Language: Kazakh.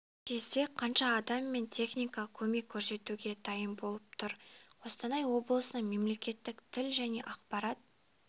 кезде қанша адам мен техника көмек көрсетуге дайын болып тұр қостанай облысының мемлекеттік тіл және ақпарат